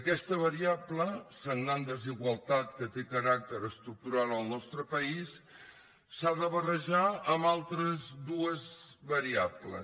aquesta variable sagnant desigualtat que té caràcter estructural al nostre país s’ha de barrejar amb altres dues variables